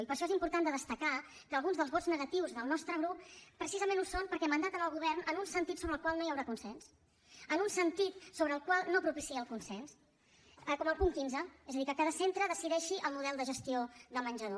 i per això és important de destacar que alguns dels vots negatius del nostre grup precisament ho són perquè mandaten al govern en un sentit sobre el qual no hi haurà consens en un sentit que no propicia el consens com el punt quinze és a dir que cada centre decideixi el model de gestió de menjador